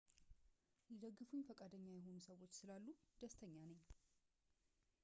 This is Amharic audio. ሊደግፉኝ ፈቃደኛ የሆኑ ሰዎች ስላሉ ደስተኛ ነኝ